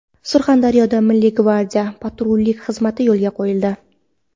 Surxondaryoda Milliy gvardiya patrullik xizmati yo‘lga qo‘yildi.